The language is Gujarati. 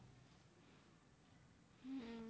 હમ